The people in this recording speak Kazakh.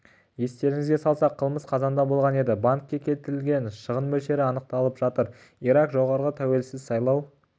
естеріңізге салсақ қылмыс қазанда болған еді банкке келтірілген шығын мөлшері анықталып жатыр ирак жоғары тәуелсіз сайлау